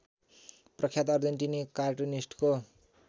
प्रख्यात अर्जेन्टिनी कार्टुनिस्टको